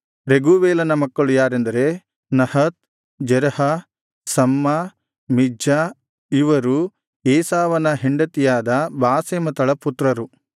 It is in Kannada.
ರೆಗೂವೇಲನ ಮಕ್ಕಳು ಯಾರೆಂದರೆ ನಹತ್ ಜೆರಹ ಶಮ್ಮಾ ಮಿಜ್ಜಾ ಇವರು ಏಸಾವನ ಹೆಂಡತಿಯಾದ ಬಾಸೆಮತಳ ಪುತ್ರರು